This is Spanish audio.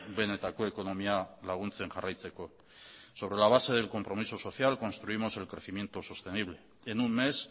benetako ekonomia laguntzen jarraitzeko sobre la base del compromiso social construimos el crecimiento sostenible en un mes